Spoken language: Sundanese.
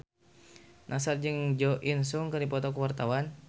Nassar jeung Jo In Sung keur dipoto ku wartawan